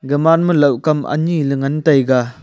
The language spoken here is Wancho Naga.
gaman ma laoh kam anyiley ngan taiga.